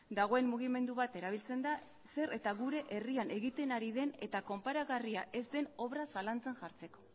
dagoen mugimendu bat erabiltzen da zer eta gure herrian egiten ari den eta konparagarria ez den obra zalantzan jartzeko